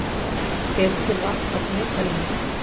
Hvetur til varkárni í umferðinni